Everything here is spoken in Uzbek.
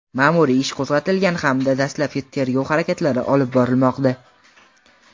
ma’muriy ish qo‘zg‘atilgan hamda dastlabki tergov harakatlari olib borilmoqda.